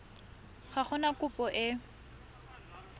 ga go na kopo e